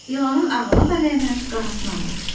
İlanın ağına da lənət, qarasına da.